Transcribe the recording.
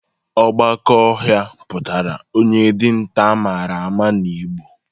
Ogbaka ohia putara onye dinta amara ma na igbo